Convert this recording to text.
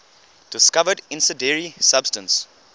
discovered incendiary substance